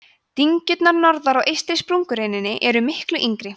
dyngjurnar norðar á eystri sprungureininni eru miklu yngri